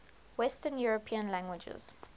western european languages